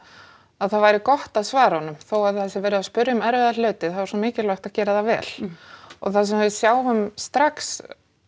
að það væri gott að svara honum þó að það sé verið að spyrja um erfiða hluti þá er svo mikilvægt að gera það vel og það sem við sjáum strax